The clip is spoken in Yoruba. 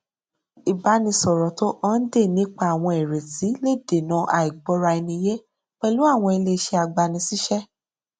ìbánisọrọ tó hànde nípa àwọn ìrètí le dènà àìgbọraẹniyé pẹlú àwọn ilé iṣẹ agbanisíṣẹ